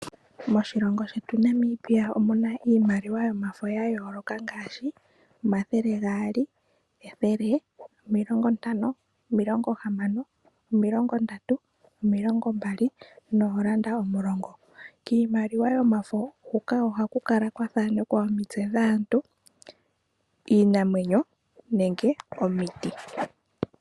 Moshilongo shetu Namibia omu na iimaliwa yomafo ya yooloka ngaashi; omathele gaali ,ethele, omilongo ntano, omilongo hamano, omilongo ndatu, omilongo mbali noolanda omulongo. Kiimaliwa yomafo huka ohaku kala kwa thanekwa omitse dhaantu iinamwenyo nenge omiti.